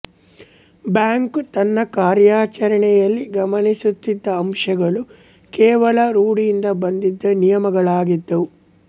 bank ತನ್ನ ಕಾರ್ಯಾಚರಣೆಯಲ್ಲಿ ಗಮನಿಸುತ್ತಿದ್ದ ಅಂಶಗಳು ಕೇವಲ ರೂಢಿಯಿಂದ ಬಂದಿದ್ದ ನಿಯಮಗಳಾಗಿದ್ದುವು